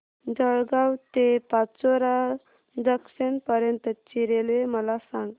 जळगाव ते पाचोरा जंक्शन पर्यंतची रेल्वे मला सांग